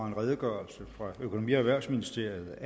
en redegørelse fra økonomi og erhvervsministeriet